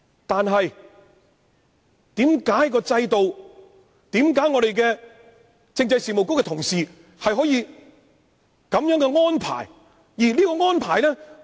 但是，為何在制度上，政制及內地事務局的同事可以作出這樣的安排？